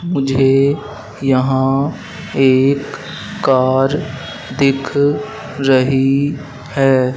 मुझे यहां एक कार दिख रही है।